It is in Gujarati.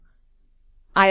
જોડાવા બદલ આભાર